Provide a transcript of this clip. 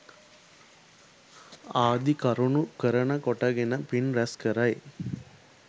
ආදි කරුණු කරන කොටගෙන පින් රැස් කරයි.